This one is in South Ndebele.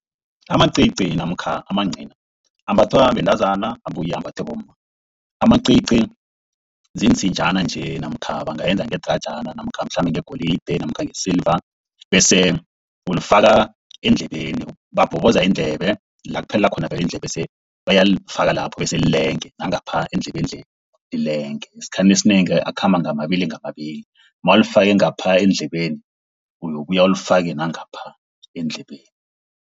Amacici namkha amancina ambathwa bantazana abuye ambathwa bomma. Amacici ziinsinjana nje namkha bangayenza ngedrajana namkha mhlambe ngegolide namkha ngesiliva, bese uzifaka eendlebeni. Babhoboza iindlebe la kuphelela khona vele iindlebe, bese uyalifaka lapho bese lilenge nangapha eendlebeni le, lilenge. Esikhathini esinengi akhamba ngamababili ngamababili, mawulifake ngapha eendlebeni. Uyokubuya ulifake nangapha eendlebeni.